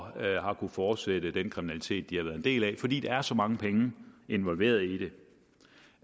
har kunnet fortsætte den kriminalitet de har været en del af fordi der er så mange penge involveret i det det